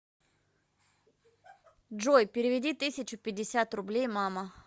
джой переведи тысячу пятьдесят рублей мама